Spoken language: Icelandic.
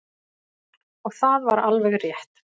Og það var alveg rétt.